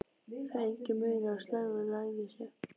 Það er enginn munur á slægð og lævísi.